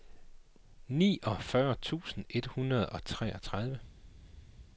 niogfyrre tusind et hundrede og treogtredive